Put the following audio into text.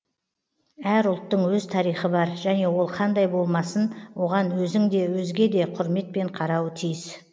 әр ұлттың өз тарихы бар және ол қандай болмасын оған өзің де өзге де құрметпен қарауы тиіс